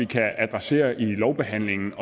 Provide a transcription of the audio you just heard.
kan adressere i lovbehandlingen